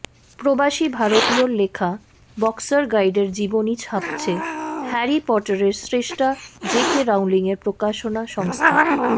প্রবাসী ভারতীয়র লেখা বক্সার গাইডের জীবনী ছাপছে হ্যারি পটারের স্রষ্টা জে কে রাউলিংয়ের প্রকাশনা সংস্থা